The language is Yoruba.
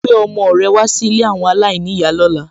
Gbé ọmọ rẹ wá sí ilé àwọn aláìníyàá lóla.